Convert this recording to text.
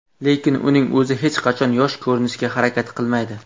Lekin uning o‘zi hech qachon yosh ko‘rinishga harakat qilmaydi.